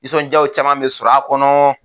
Nisɔndiyaw caman bɛ sɔrɔ a kɔnɔ